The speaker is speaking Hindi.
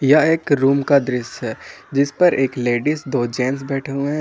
यह एक रूम का दृश्य है जिस पर एक लेडीज दो जेंट्स बैठे हुए है।